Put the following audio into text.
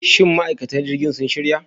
Shin ma'aikatan jirgin sun shirya?